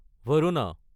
Varuna